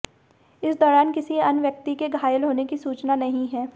इस दौरान किसी अन्य व्यक्ति के घायल होने की सूचना नहीं है